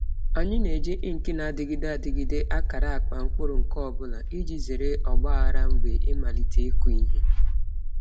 Anyị na-eji ink na-adịgide adịgide akara akpa mkpụrụ nke ọ bụla iji zere ọgba aghara mgbe ịmalite ịkụ ihe.